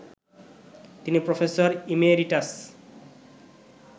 তিনি professor emeritus